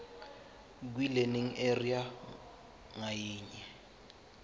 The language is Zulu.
kwilearning area ngayinye